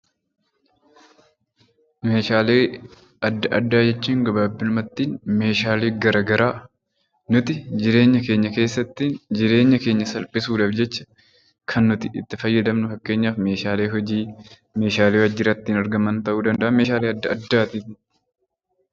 Meeshaalee adda addaa jechuun gabaabumatti meeshaalee garaagaraa nuti jireenya keenya keessatti jireenya keenya salphisuudhaaf jecha kan nuti itti fayyadamnu fakkeenyaaf meeshaalee hojii meeshaalee waajjiratti argaman ta'uu danda'a